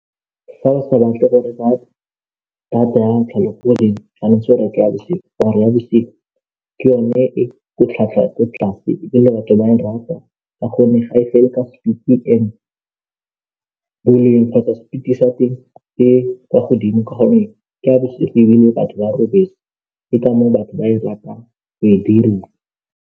Ee, batho ba prefer-a go tshameka mo difounung tsa bone kgotsa mo mogaleng ya bone ebile go ba ntlo ka gonne ga ba kgone go ya ba dula ba dutse fela, ba tshameka metshameko mo megaleng ya bone ya letheka.